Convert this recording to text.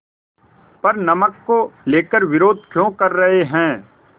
पर नमक को लेकर विरोध क्यों कर रहे हैं